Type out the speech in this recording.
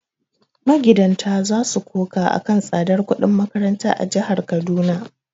Magidanta za su koka a kan tsadar kudin makaranta a jihar Kaduna.